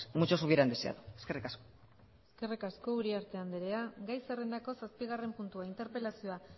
muchos hubieran deseado eskerrik asko eskerrik asko uriarte andrea gai zerrendako zazpigarren puntua interpelazioa